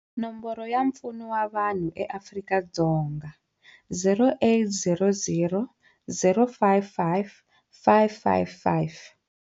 Nomboro ya mpfuno wa vanhu ya Afrika-Dzonga- 0800 055 555.